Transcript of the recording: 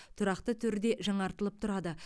тұрақты түрде жаңартылып тұрады